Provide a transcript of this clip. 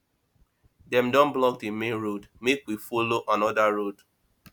dem don block di main road make we folo anoda road